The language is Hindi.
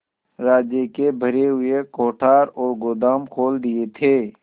राज्य के भरे हुए कोठार और गोदाम खोल रखे थे